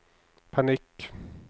panikk